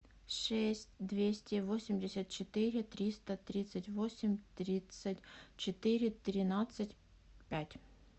шесть двести восемьдесят четыре триста тридцать восемь тридцать четыре тринадцать пять